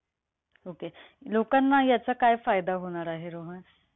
Okay. लोकांना याचा काय फायदा होणार आहे, रोहन?